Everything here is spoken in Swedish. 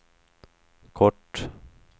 kort